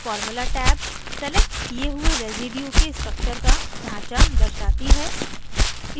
formula tab selected किये हुए residue के structure का ढांचा दर्शाती है